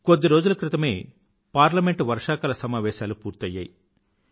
కొద్ది రోజుల క్రితమే పార్లమెంట్ లో వర్షాకాల సమావేశాలు పూర్తయ్యాయి